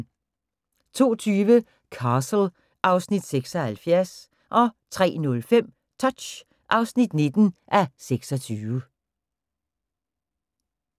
02:20: Castle (Afs. 76) 03:05: Touch (19:26)